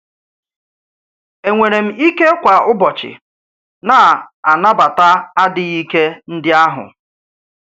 Ènwèrè m íké kwa ụ́bọ̀chị̀ na-anàbàtà àdíghí íké ndị ahụ?